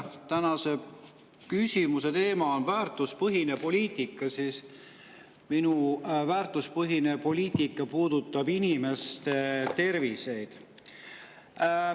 Tänase küsimuse teema on väärtuspõhine poliitika ja minu väärtuspõhine poliitika puudutab inimeste tervist.